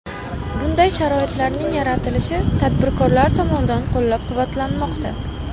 Bunday sharoitlarning yaratilishi tadbirkorlar tomonidan qo‘llab-quvvatlanmoqda.